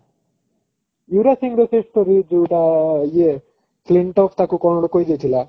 ୟୁବରାଜ ସିଂହର ସେ story ଯୋଉଟା ଇଏ ତାକୁ କଣ ଗୋଟେ କହି ଦେଇଥିଲା